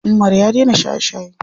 Umar ya dena shaye shaye.